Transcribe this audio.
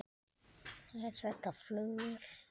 Er þetta flugvél?